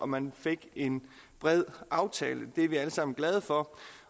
man fik en bred aftale det er vi alle sammen glade for